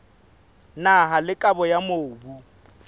naha le kabo ya mobu